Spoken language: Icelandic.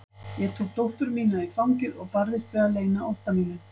Ég tók dóttur mína í fangið og barðist við að leyna ótta mínum.